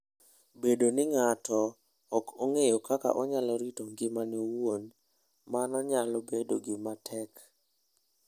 Bedo ni ng'ato ok ong'eyo kaka onyalo rito ngimane owuon, mano nyalo bedo gima tek.